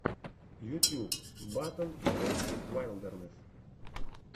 ютьюб батл брейв вайлдернесс